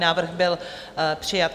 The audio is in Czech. Návrh byl přijat.